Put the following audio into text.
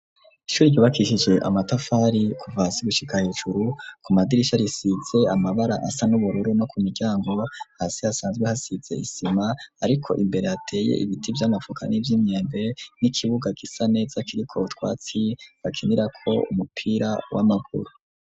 Ishuri ryubakishije amatafari kuva hasi gushika hejuru, ku madirisha risize amabara asa n'ubururu no ku miryango, hasi hasanzwe hasize isima ariko imbere hateye ibiti vy'amavoka n'ivy'imyembe, n'ikibuga gisa neza kiriko utwatsi bakinirako umupira w'amaguru.